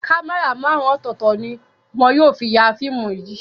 Kámẹ́rà márùn-ún ọ̀tọ̀ọ̀tọ̀ ni wọn yóò fi ya fíìmù yìí.